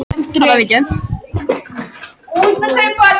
Þingkosningar verða í Bandaríkjunum á morgun